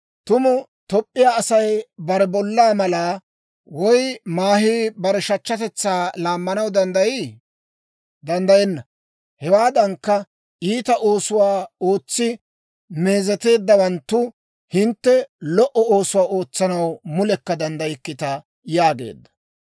Tumu Toop'p'iyaa Asay bare bollaa malaa, woy maahii bare shachchatetsaa laammanaw danddayii? Danddayenna! Hewaadankka, iita oosuwaa ootsi meezeteeddawanttu hintte, lo"o oosuwaa ootsanaw mulekka danddaykkita» yaageedda.